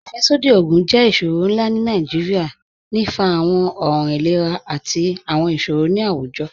Afẹ́ṣọdí ogun jẹ́ iṣọrọ̀ nlá ni Nigeria, ní fá àwọn ọ̀ràn ìlẹ̀rà àti àwọn iṣọrọ̀ ni awújọ̀.